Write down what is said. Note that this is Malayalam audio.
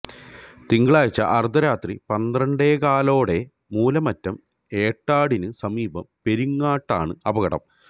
തിങ്കളാഴ്ച അര്ദ്ധരാത്രി പന്ത്രണ്ടേകാലോടെ മൂലമറ്റം എടാടിന് സമീപം പെരിങ്ങാടാണ് അപകടം